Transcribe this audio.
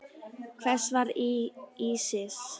Hver var Ísis?